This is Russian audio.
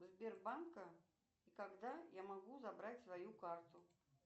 сбербанка и когда я могу забрать свою карту